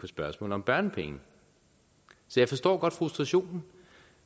spørgsmålet om børnepenge så jeg forstår godt frustrationen